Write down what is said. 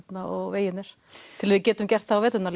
vegirnir til að við getum gert það á veturna